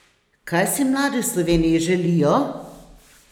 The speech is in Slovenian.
Kaj si mladi v Sloveniji želijo?